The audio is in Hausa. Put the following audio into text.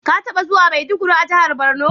Ka taɓa juwa Maiduguri a jihar Borno?